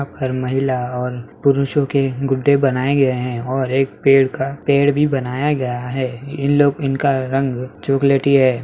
यहाँ पर महिला और पुरुषों के गुड्डे बनाये गए है और एक पेड़ का पड़े भी बनाया गया है इन लोग इनका रंग चोकलेटी है।